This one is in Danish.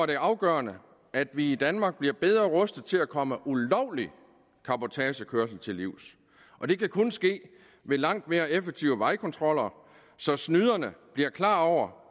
det afgørende at vi i danmark bliver bedre rustet til at komme ulovlig cabotagekørsel til livs og det kan kun ske ved langt mere effektive vejkontroller så snyderne bliver klar over